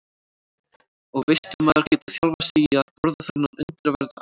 Og veistu maður getur þjálfað sig í að borða þennan undraverða ávöxt.